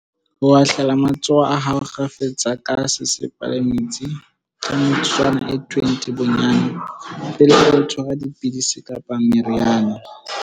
Ho hatlela matsoho a hao kgafetsa ka sesepa le metsi ka metsotswana e 20 bo-nnyane, pele o tshwara di-pidisi kapa meriana.